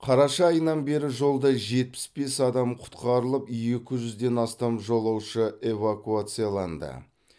қараша айынан бері жолда жетпіс бес адам құтқарылып екі жүзден астам жолаушы эвакуацияланды